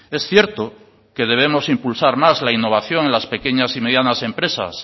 es cierto que debemos impulsar más la innovación en las pequeñas y medianas empresas